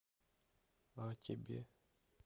а тебе